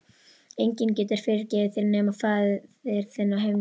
Enginn getur fyrirgefið þér nema faðir þinn á himnum.